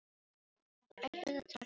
Þær ætluðu að taka til seinna.